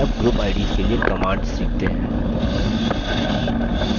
चलिए अब group ids के लिए commands सीखते हैं